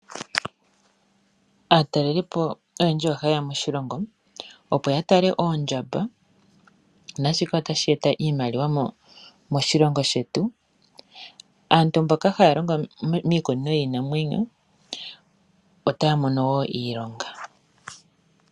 Aatalelipo oyendji oha yeya moshilongo opo ya tale oondjamba naashika otashi eta iimaliwa moshilongo shetu. Aantu mboka haya longo miikunino yiinamwenyo otaya mono wo iilonga.